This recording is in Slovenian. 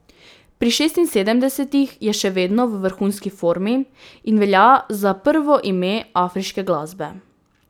Pri šestinsedemdesetih je še vedno v vrhunski formi in velja za prvo ime afriške glasbe.